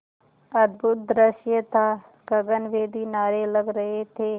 अद्भुत दृश्य था गगनभेदी नारे लग रहे थे